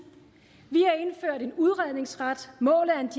vi en udredningsret målet